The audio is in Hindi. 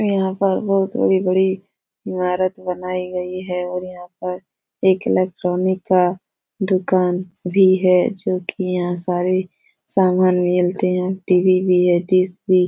यहाँ पर बहुत बड़ी बड़ी इमारत बनाई गई है और यहाँ पर एक इलेक्ट्रॉनिक का दुकान भी है जो कि यहाँ सारे सामान मिलते हैं। टी.वी. भी है डिश भी --